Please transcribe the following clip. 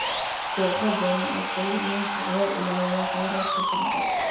Kooxo badan oo kalluumeysi ayaa ilaaliya kheyraadka badda.